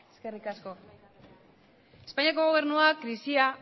eskerrik asko espainiako gobernuak krisia